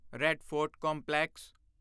red Fort complex